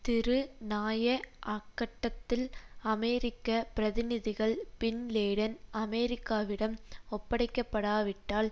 திரு நாயக் அக்கட்டத்தில் அமெரிக்க பிரதிநிதிகள் பின் லேடன் அமெரிக்காவிடம் ஒப்படைக்கப்படாவிட்டால்